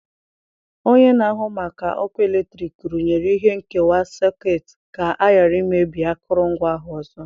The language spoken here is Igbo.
Onye na-ahụ maka ọkụ eletrik rụnyere ihe nkewa sekut ka ọ ghara imebi akụrụngwa ahụ ọzọ.